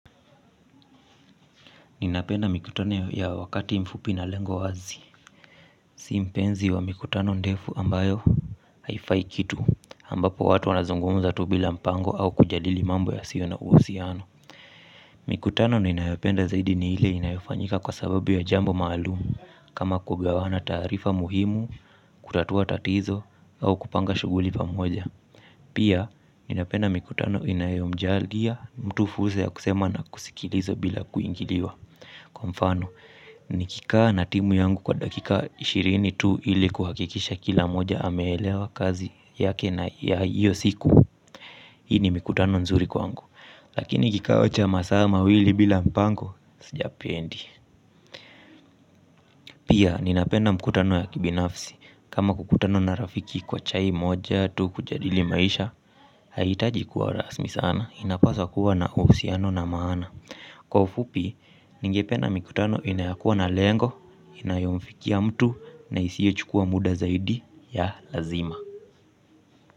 Ninapenda mikutano ya wakati mfupi na lengo wazi, sio mpenzi wa mikutano ndefu ambayo haifai kitu ambapo watu wanazungumza tu bila mpango au kujadili mambo yasio na uhusiano. Mikutano ninayopenda zaidi ni ile inayofanyika kwa sababu ya jambo maalumu kama kugawana taarifa muhimu, kutatua tatizo au kupanga shughuli pamoja. Pia ninapenda mikutano inayomjalia mtu fursa ya kusema na kusikiliza bila kuingiliwa. Kwa mfano, nikika na timu yangu kwa dakika ishirini tu ili kuhakikisha kila moja hamelewa kazi yake na ya hiyo siku. Hii ni mikutano nzuri kwangu, lakini kikao cha masaa mawili bila mpango, siyapendi. Pia ninapenda mikutano ya kibinafsi, kama kukutana na rafiki kwa chai moja tu kujadili maisha. Pia ninapenda mikutano inayomjalia mtu fursa ya kusema na kusikiliza bila kuingiliwa. Kwa mfano, nikika na timu yangu kwa dakika ishirini tu ili kuhakikisha kila moja amelewa kazi yake na ya hiyo siku ningependa mikutano inayokuwa na lengo inayomfikia mtu na isio chukuwa muda zaidi ya lazima.